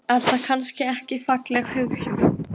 Er það kannski ekki falleg hugsjón?